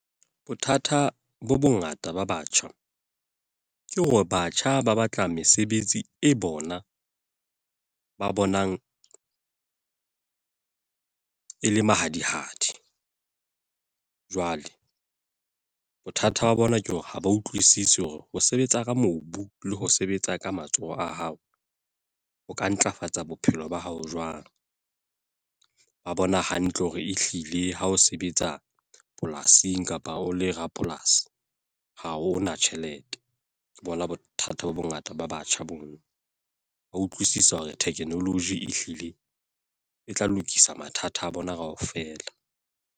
Bothata bo bongata ba batjha. Ke hore batjha ba batla mesebetsi e bona, ba bonang e le mahadi-hadi. Jwale bothata ba bona ke hore ha ba utlwisisi hore ho sebetsa ka mobu le ho sebetsa ka matsoho a hao ho ka ntlafatsa bophelo ba hao jwang. Ba bona hantle hore ehlile ha o sebetsa polasing kapa o le rapolasi ha hona tjhelete. Ke bona bothata bo bongata ba batjha boo. Ba utlwisisa hore technology ehlile e tla lokisa mathata a bona kaofela.